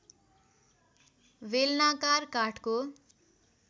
बेलनाकार काठको